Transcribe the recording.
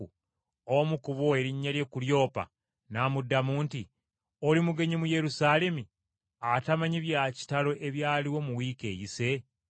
Omu ku bo, erinnya lye Kulyoppa n’amuddamu nti, “Oli mugenyi mu Yerusaalemi atamanyi bya kitalo ebyaliwo mu wiiki eyise?”